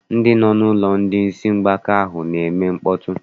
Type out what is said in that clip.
Ndị nọ n'ụlọ ndị isi mgbaka ahụ na-eme mkpọtụ.